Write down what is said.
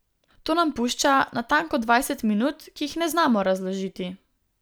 To nam pušča natanko dvajset minut, ki jih ne znamo razložiti.